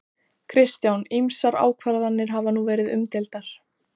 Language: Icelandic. Kristján: Ýmsar ákvarðanir hafa nú verið umdeildar?